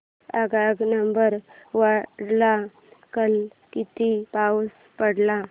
गगनबावड्याला काल किती पाऊस पडला